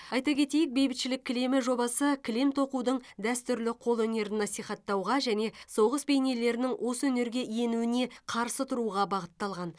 айта кетейік бейбітшілік кілемі жобасы кілем тоқудың дәстүрлі қолөнерін насихаттауға және соғыс бейнелерінің осы өнерге енуіне қарсы тұруға бағытталған